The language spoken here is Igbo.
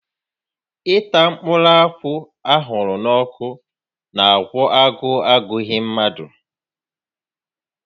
Ịta mkpụrụ akwụ a ahụrụ n'ọkụ n'àgwọ́ agụụ agụghị mmadụ